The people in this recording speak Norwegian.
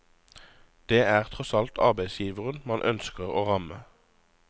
Det er tross alt arbeidsgiveren man ønsker å ramme.